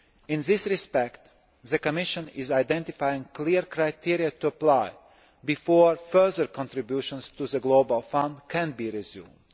In this respect, the Commission is identifying clear criteria to apply before further contributions to the Global Fund can be resumed.